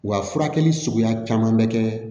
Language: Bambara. Wa furakɛli suguya caman bɛ kɛ